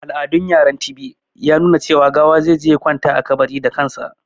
Al'adun yaran Tibi ya nuna cewa gawa zai je ya kwanta a kabari da kansa.